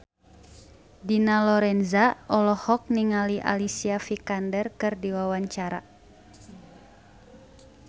Dina Lorenza olohok ningali Alicia Vikander keur diwawancara